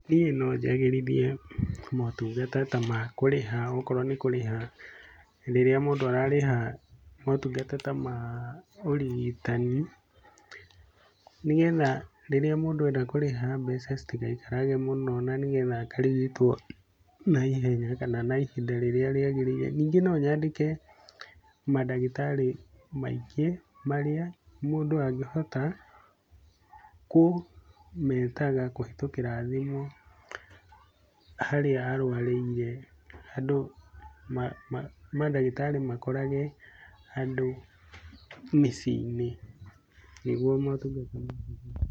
Hihi nojagĩrithie motungata ta ma kurĩha okorwo nikũrĩha rĩrĩa mũndũ ararĩha motungata ta ma ũrigitani, nĩgetha rĩrĩa mũndũ enda kũrĩha mbeca citigaikarage mũno na nĩgetha akarigitwo naihenya kana ihinda rĩrĩa rĩagĩrĩire. Ningĩ no nyandĩke madagĩtarĩ maingĩ marĩa mũndũ angĩhota kũmetaga kũhetũkĩra thimũ harĩa arũarĩire andũ madagĩtarĩ makorage andũ mĩcĩinĩ nĩguo marigitwo.